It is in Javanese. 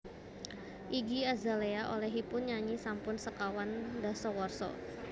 Iggy Azalea olehipun nyanyi sampun sekawan dasawarsa